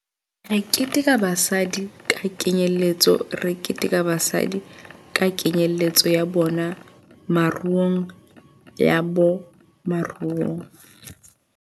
Re keteka basadi ka kenyeletso Re keteka basadi ka kenyeletso ya bona moruongya bona moruong.